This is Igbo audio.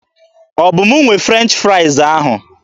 Ọ bụ m nwe French fraịz ahụ?